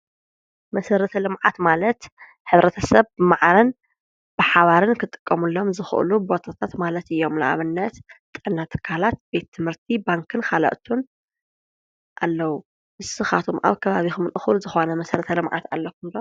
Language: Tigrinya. መሰረተ ልምዓት ማለት ሕብረተ ሰብ መዓረን ብሓባርን ክጥቀሙሎም ዘኽእሉ ቦታታት ማለት እዩ። ንኣብነት ጥዕና ትካላት፣ ቤት ትምህርቲ፣ ባንክን ኻልእቱን ኣለዉ። ንስኻቶም ኣብ ከባቢ እኹል እዂሉ ዝኾነ መሠረተ ልምዓት ኣለኹም ዶ?